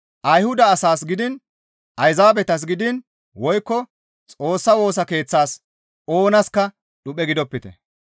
Ayhuda asaas gidiin Ayzaabetas gidiin woykko Xoossa Woosa Keeththas oonaska dhuphe gidopite.